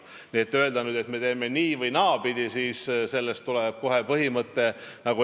Nii et kui me nüüd ütleme, et teeme nii- või naapidi, siis saab sellest kohe põhimõte.